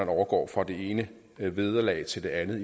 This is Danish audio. overgå fra det ene vederlag til det andet